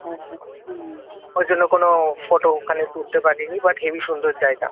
ওই জন্য কোনো ফটো ওখানে তুলতে পারিনি বাট হেবি সুন্দর জায়গা